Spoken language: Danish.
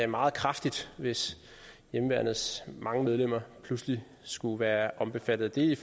meget kraftigt hvis hjemmeværnets mange medlemmer pludselig skulle være omfattet i